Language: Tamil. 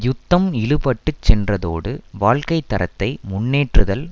யுத்தம் இழுபட்டுச் சென்றதோடு வாழ்க்கை தரத்தை முன்னேற்றுதல்